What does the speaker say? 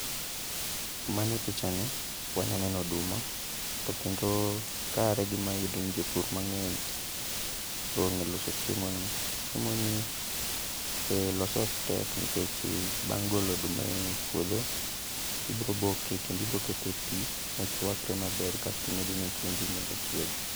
Mane picha ni wanya neno oduma, to kendo kare gi mayudo ni jopur mang'eny ong'e loso chiemo ni. Chiemo ni lose ok tek nikech bang' golo oduma e puodho, ibro boke kendo ibro kete e pi mochwakre maber kasti medone chumbi mondo chiegi.